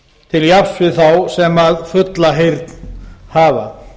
til jafns við þá sem fulla heyrn hafa